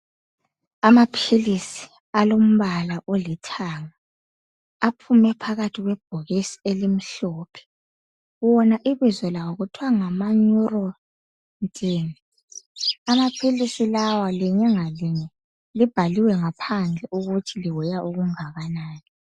Amaphilisi alombala olithanga aphume phakathi kwebhokisi elimhlophe wona ibizo lawo kuthwa ngama neurontin amaphilisi lawa linye ngalinye libhaliwe ngaphandle ukuthi li weigh okunganani